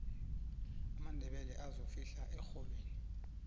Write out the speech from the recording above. amandebele azofihla erholweni